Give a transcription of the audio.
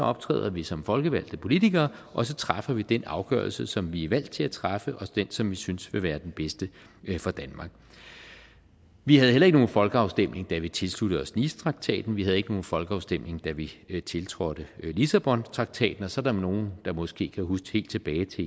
optræder vi som folkevalgte politikere og så træffer vi den afgørelse som vi er valgt til at træffe og den som vi synes vil være den bedste for danmark vi havde heller ikke nogen folkeafstemning da vi tilsluttede os nicetraktaten vi havde ikke nogen folkeafstemning da vi vi tiltrådte lissabontraktaten og så er der nogle der måske kan huske helt tilbage til